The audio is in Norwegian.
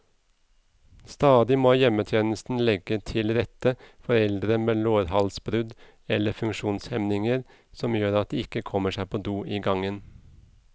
Stadig må hjemmetjenesten legge til rette for eldre med lårhalsbrudd eller funksjonshemninger som gjør at de ikke kommer seg på do i gangen.